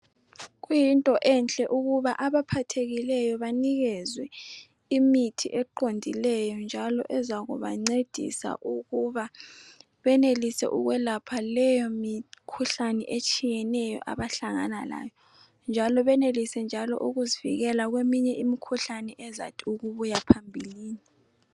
Kuyinto enhle ukuba abaphathekileyo baphiwe imithi eqondileyo njalo ezakubancedisa ukuba benelise ukwelapha leyo mikhuhlane etshiyeneyo abahlangana layo njalo benelise njalo ukuzivikela kweminye imikhuhlane ezathi ukubuya phambilini.